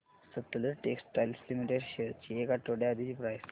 Sutlej Textiles Limited shares ची एक आठवड्या आधीची प्राइस